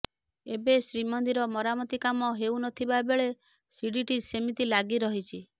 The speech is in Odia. ଏବେ ଶ୍ରୀମନ୍ଦିର ମରାମତି କାମ ହେଉନଥିବା ବେଳେ ଶିଡ଼ିଟି ସେମିତି ଲାଗି ରହିଛି